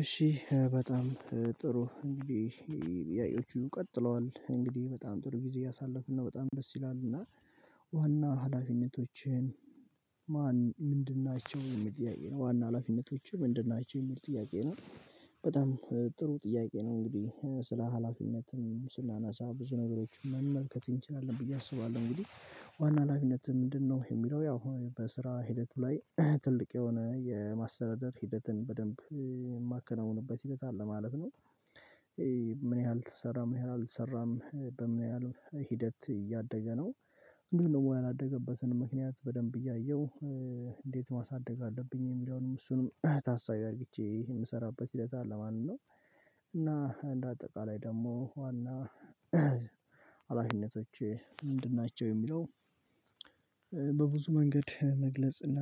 እሺ በጣም ጥሩ እንግዲህ ጥያቄዎቹ ቀጥለዋል እንግዲህ በጣም ጥሩ ጊዜ እያሳለፍን ነው በጣም ደስ ይላል እና ዋና ሀላፊነቶችን ማን ምንድን ናቸው የሚል ጥያቄ ነው ዋና ሀላፊነቶችህ ምንድን ናቸው የሚል ጥያቄ ነው? በጣም ጥሩ ጥያቄ ነው እንግዲህ ስራ ሀላፊነትም ስናነሳ ብዙ ነገሮችን መመልከት እንችላለን ብዬ አስባለሁ እንግዲህ ዋና ሀላፊነት ምንድነው የሚለው ያው በስራ ሂደት ላይ ትልቅ የሆነ የማስተዳደር ሂደትን በደንብ የማከናውንበት ሂደት አለ ማለት ነው። ምን ያህል ተሰራ ምን ያህል አልተሰራም በምን ያህል ሂደት እያደገ ነው። እንዲሁም ያላደገበትን ምክንያት በደንብ እያየሁ እንዴት ማሳደግ አለብኝ የሚለውንም እሱንም ታሳቢ አድርግቼ የምሰራበት ሂደት አለ ማለት ነው። እና እንደ አጠቃላይ ደግሞ ዋና ሀላፊነቶቼ ምንድን ናቸው የሚለው? በብዙ መንገድ መግለጽና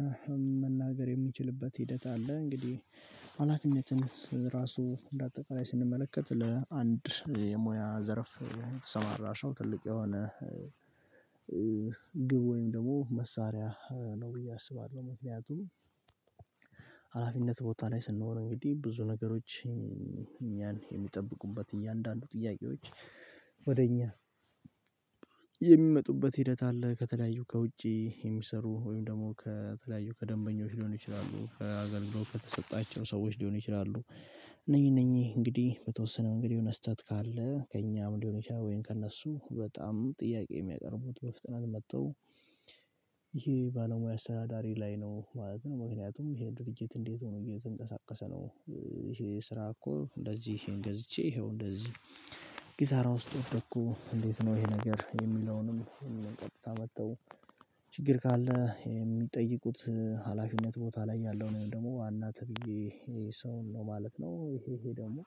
መናገር የምንችልበት ሂደት አለ እንግዲህ ሀላፊነትም ራሱ እንደ አጠቃላይ ስንመለከት ለአንድ የሙያ ዘርፍ የተሰማራ ሰው ትልቅ የሆነ ግብ ወይም ደግሞ መሳሪያ ነው ብዬ አስባለሁ። ምክንያቱም ሀላፊነት ቦታ ላይ ስንሆን እንግዲህ ብዙ ነገሮች እኛን የሚጠብቁበት እያንዳንዱ ጥያቄዎች ወደ እኛ የሚመጡበት ሂደት አለ ከተለያዩ ከውጪ የሚሰሩ ወይም ደግሞ ከተለያዩ ከደንበኞች ሊሆኑ ይችላሉ ከአገልግሎት ከተሰጣቸው ሰዎች ሊሆኑ ይችላሉ። እነኚህ እነኚህ እንግዲህ በተወሰነው እንግዲህ የሆነ ስህተት ካለ ከእኛም ሊሆን ይችላል ወይም ከእነሱ በጣም ጥያቄ የሚያቀርቡት በፍጥነት መጥተው ይሄ ባለሙያ አስተዳዳሪ ላይ ነው ማለት ነው ምክንያቱም ይሄ ድርጅት እንዴት ሆኖ እየተንቀሳቀሰ ነው። ይሄ ስራ እኮ እንደዚህ ይሄን ገዝቼ ይሄው እንደዚህ ኪሳራ ውስጥ ወደኩ እንዴት ነው? ይሄ ነገር የሚለውንም የሚለውን ቀጥታ መጥተው ችግር ካለ የሚጠይቁት ሀላፊነት ቦታ ላይ ያለው ወይም ደግሞ ዋና ተብዬ ሰው ነው ማለት ነው። ይሄ ይሄ ደግሞ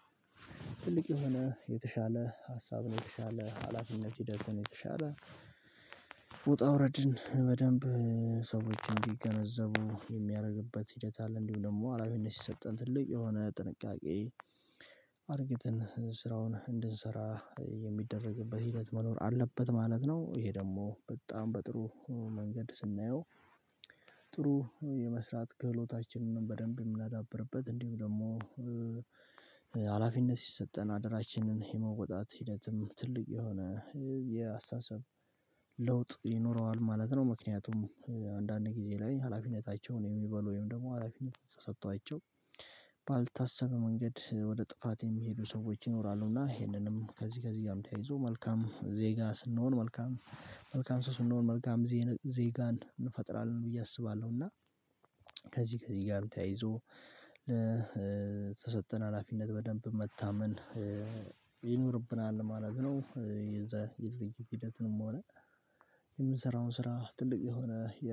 ትልቅ የሆነ የተሻለ ሀሳብ ነው የተሻለ ሀላፊነት ሂደትን የተሻለ ውጣ ውረድን በደንብ ሰዎችን እንዲገነዘቡ የሚያደርግበት ሂደት አለ። እንዲሁም ደግሞ ሀላፊነት ሲሰጠን ትልቅ የሆነ ጥንቃቄ አድርግትን ስራውን እንድንሰራ የሚደረግበት ሂደት መኖር አለበት ማለት ነው። ይሄ ደግሞ በጣም በጥሩ መንገድ ስናየው ጥሩ የመስራት ክህሎታችንን በደንብ የምናዳብርበት እንዲሁም ደግሞ ሀላፊነት ሲሰጠን አደራችንን የመውጣት ሂደትም ትልቅ የሆነ የአስተሳሰብ ለውጥ ይኖረዋል ማለት ነው። ምክንያቱም አንዳንድ ጊዜ ላይ ሀላፊነታቸውን የሚበሉ ወይም ደግሞ ሀላፊነት ተሰጧቸው ባልታሰበ መንገድ ወደ ጥፋት የሚሄዱ ሰዎች ይኖራሉና ይሄንንም ከዚህ ከዚህ ጋር ተያይዞ መልካም ዜጋ ስንሆን መልካም መልካም ሰው ስንሆን መልካም ዜጋን እንፈጥራለን ብዬ አስባለሁ እና ከዚህ ከዚህ ጋር ተያይዞ ተሰጠን ሀላፊነት በደንብ መታመን ይኖርብናል ማለት ነው። የዛ የድርጅት ሂደትንም ሆነ የምንሰራውን ስራ ትልቅ የሆነ የ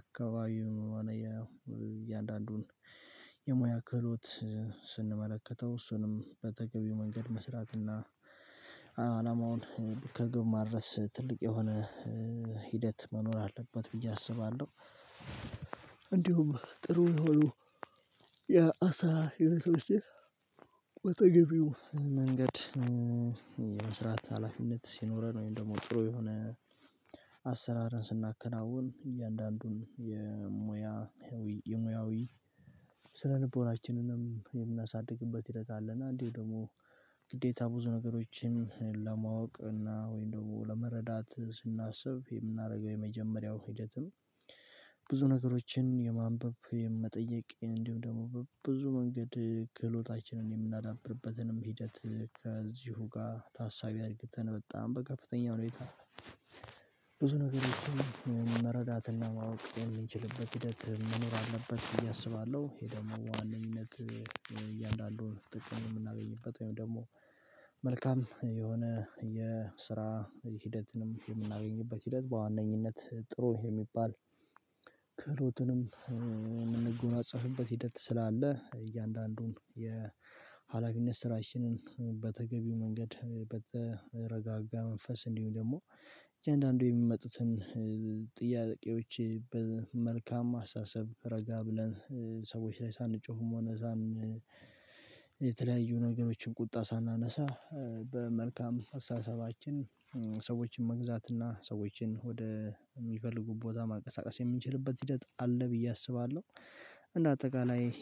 አካባቢውን እያንዳንዱን የሙያ ክህሎት ስንመለከተው እሱንም በተገቢው መንገድ መስራት እና አላማውን ከግብ ማድረስ ትልቅ የሆነ ሂደት መኖር አለበት ብዬ አስባለሁ። እንዲሁም ጥሩ የሆኑ የ አሰራር ሂደቶችን በተገቢው መንገድ የመስራት ሀላፊነት ሲኖረን ወይም ደግሞ ጥሩ የሆነ አሰራርን ስናከናውን እያንዳንዱን የሙያ የሙያዊ ስነልቦናችንንም የምናሳድግበት ሂደት አለና እንዲሁም ደግሞ ግዴታ ብዙ ነገሮችን ለማወቅ እና ወይም ደግሞ ለመረዳት ስናስብ የምናደርገው የመጀመሪያው ሂደትም ብዙ ነገሮችን የማንበብ የመጠየቅ እንዲሁም ደግሞ በብዙ መንገድ ክህሎታችንን የምናዳብርበትንም ሂደት ከዚሁ ጋር ታሳቢ አድርግተን በጣም በከፍተኛ ሁኔታ ብዙ ነገሮችን መረዳትና ማወቅ የምንችልበት ሂደት መኖር አለበት ብዬ አስባለሁ። ደግሞ በዋነኝነት እያንዳንዱን ጥቅም የምናገኝበት ወይም ደግሞ መልካም የሆነ የስራ ሂደትንም የምናገኝበት ሂደት በዋነኝነት ጥሩ የሚባል ክህሎትንም የምንጎናጸፍበት ሂደት ስላለ እያንዳንዱን የሀላፊነት ስራችንን በተገቢው መንገድ በተረጋጋ መንፈስ እንዲሁም ደግሞ እያንዳንዱ የሚመጡትን ጥያቄዎች በመልካም አስተሳሰብ ረጋ ብለን ሰዎች ላይ ሳንጮህም ሆነ እምብዛም የተለያዩ ነገሮችን ቁጣ ሳናነሳ በመልካም አስተሳሰባችን ሰዎችን መግዛት እና ሰዎችን ወደ የሚፈልጉ ቦታ ማንቀሳቀስ የምንችልበት ሂደት አለ ብዬ አስባለሁ። እንደ አጠቃላይ